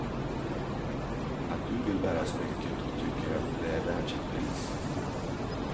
Att du vill bära smycket och tycker att det är värt sitt pris.